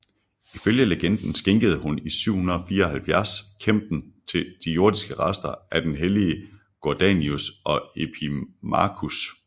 Ifølge legenden skænkede hun i 774 Kempten de jordiske rester af den hellige Gordianus og Epimachus